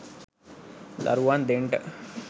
දරුවන් දෙන්ට.